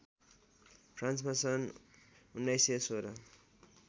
फ्रान्समा सन् १९१६